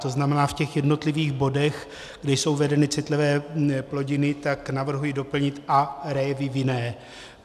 To znamená, v těch jednotlivých bodech, kde jsou uvedeny citlivé plodiny, tak navrhuji doplnit "a révy vinné."